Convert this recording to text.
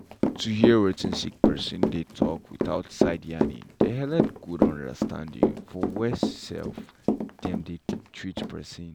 to hear wetin sick person dey talk without side yarnings dey helep good understanding for where um dem dey treat persin.